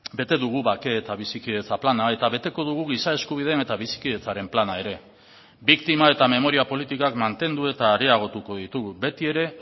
bete dugu bake eta bizikidetza plana eta beteko dugu giza eskubideen eta bizikidetzaren plana ere biktima eta memoria politikak mantendu eta areagotuko ditugu beti ere